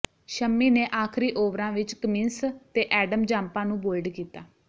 ਸ਼ੰਮੀ ਨੇ ਆਖਰੀ ਓਵਰਾਂ ਵਿਚ ਕਮਿੰਸ ਤੇ ਐਡਮ ਜਾਂਪਾ ਨੂੰ ਬੋਲਡ ਕੀਤਾ